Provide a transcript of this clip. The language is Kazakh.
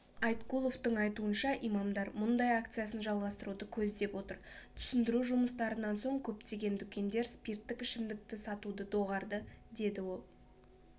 айткуловтың айтуынша имамдар мұндай акциясын жалғастыруды көздеп отыр түсіндіру жұмыстарынан соң көптеген дүкендер спирттік ішімдікті сатуды доғарды деді ол